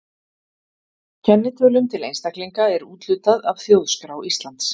Kennitölum til einstaklinga er úthlutað af Þjóðskrá Íslands.